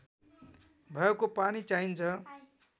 भएको पानी चाहिन्छ